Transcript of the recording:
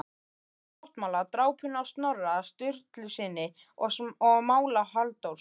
Gamla sáttmála, drápinu á Snorra Sturlusyni og mála Halldórs